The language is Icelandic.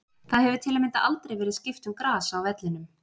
Það hefur til að mynda aldrei verið skipt um gras á vellinum.